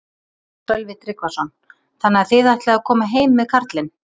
Sölvi Tryggvason: Þannig að þið ætlið að koma heim með karlinn?